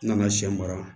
N nana sɛ mara